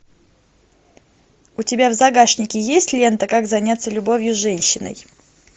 у тебя в загашнике есть лента как заняться любовью с женщиной